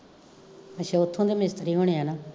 ਅੱਸ਼ਾ ਓਥੋਂ ਦੇ ਮਿਸਤਰੀ ਹੋਣੇ ਆ ਨਾ